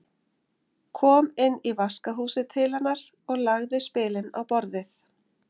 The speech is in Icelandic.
Kom inn í vaskahúsið til hennar og lagði spilin á borðið.